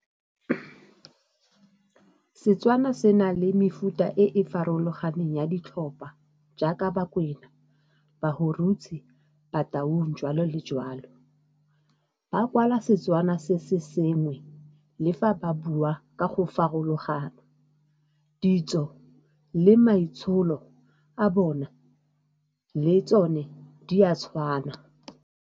Setswana se na le mefuta e e farologaneng ya ditlhopha jaaka Bakwena, Bahurutse, Bataung, joalo le joalo. Ba kwala Setswana se se sengwe le fa ba bua ka go farologana. Ditso le maitsholo a bona le tsone di a tshwana.